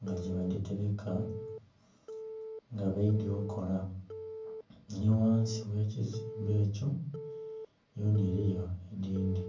nga gye badhitereka nga beidhye okola ni ghansi ghekizimbe ekyo yona eriyo edindhi.